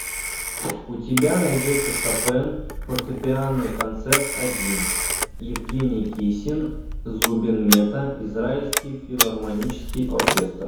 у тебя найдется шопен фортепианный концерт один евгений кисин зубин мета израильский филармонический оркестр